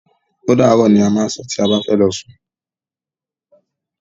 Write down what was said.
Ódàárọ̀! ni a má ń sọ tí a bá ti fẹ́ lọ sún.